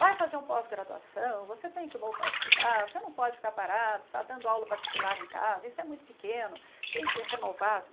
Vai fazer um pós-graduação, você tem que voltar a estudar, você não pode ficar parado, ficar dando aula particular em casa, isso é muito pequeno, tem que renovar.